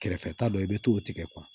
Kɛrɛfɛta dɔ i bɛ t'o tigɛ